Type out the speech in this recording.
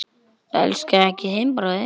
Elskaðu ekki þinn bróður.